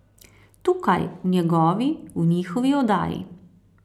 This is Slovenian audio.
Tukaj, v njegovi, v njihovi oddaji.